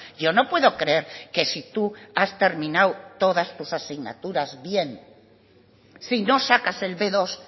yo no puedo creer que si tú has terminado todas tus asignaturas bien si no sacas el be dos